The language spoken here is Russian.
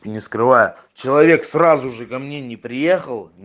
не скрываю человек сразу же ко мне не приехал